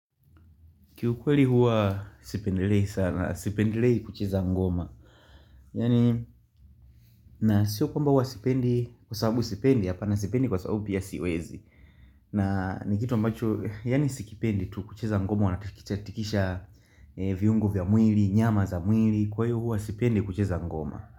Kiukweli huwa sipendelei sana, sipendelei kucheza ngoma. Yani, na sio kwamba huwa sipendi, kwa sababu sipendi, hapana sipendi kwa sababu pia siwezi. Na, ni kitu ambacho, yani sikipendi tu kucheza ngoma, unatikishatikisha viungo vya mwili, nyama za mwili, kwa hiyo huwa sipendi kucheza ngoma.